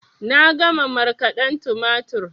Na gama markaden tumatur